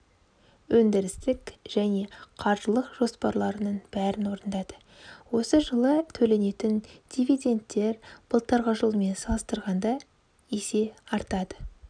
өндірістік және қаржылық жоспарларының бәрін орындады осы жылы төленетін дивиденттер былтырғы жылмен салыстырғанда есе артады